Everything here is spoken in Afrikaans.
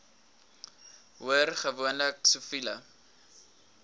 hoor gewoonlik siviele